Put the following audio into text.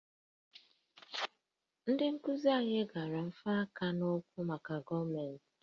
Ndị nkuzi anyị gara nfanye aka n'ụkwụ maka gọọmentị